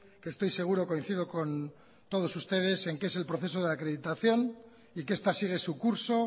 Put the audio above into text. que estoy seguro coincido con todos ustedes en que es el proceso de acreditación y que esta sigue su curso